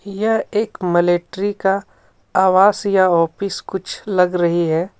यह एक मलेट्रि का आवास या ऑफिस कुछ लग रही हे।